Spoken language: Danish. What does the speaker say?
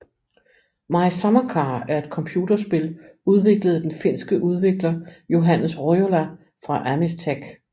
My Summer Car er et computerspil udviklet af den finske udvikler Johannes Rojola fra Amistech